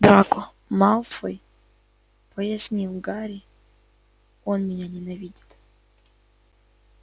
драко малфой пояснил гарри он меня ненавидит